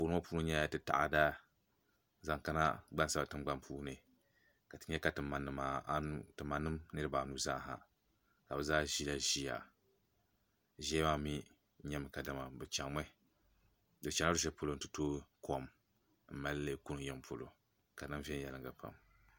Anfooni ŋɔ puuni yɛla ti taada zaŋ kana ti gbansabila tingbani ka ti yɛ ka tima niriba anu zaaha ka bi zaa zila ziya ziya maa mi yɛmi ka dama bi chaŋla luɣi shɛli polo nti tooi kom n mali li kuni yiŋa polo ka di niŋ viɛnyɛliŋga pam.